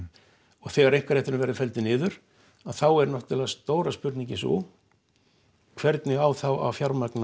og þegar einkarétturinn verður felldur niður að þá er náttúrulega stóra spurningin sú hvernig á þá að fjármagna